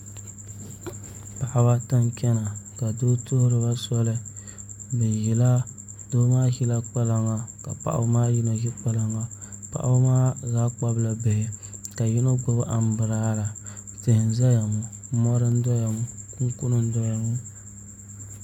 Paɣaba ata n chɛna ka doo tuhuriba soli doo maa ʒila kpalaŋa ka paɣaba maa yino ʒi kpalaŋa paɣaba maa zaa kpabila bihi ka yino ʒi anbirala tihi n ʒɛya ŋo mori n ʒɛya kunkuni n doya ŋo